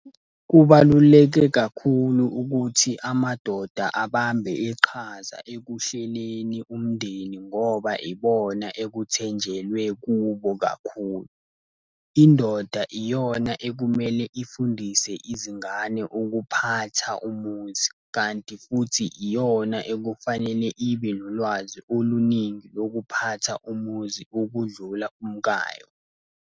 Kubaluleke kakhulu ukuthi amadoda abambe iqhaza ekuhleleni umndeni ngoba ibona ekuthenjelwe kubo kakhulu. Indoda iyona ekumele ifundise izingane ukuphatha umuzi, kanti futhi iyona ekufanele ibe nolwazi oluningi lokuphatha umuzi okudlula umkayo.